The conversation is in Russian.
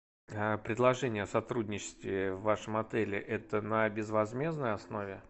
а предложение о сотрудничестве в вашем отеле это на безвозмездной основе